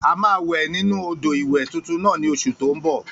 A máa wẹ̀ nínu odò ìwẹ̀ tuntun náà ní oṣù tó n bọ̀